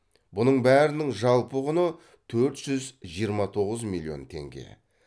бұның бәрінің жалпы құны төрт жүз жиырма тоғыз миллион теңге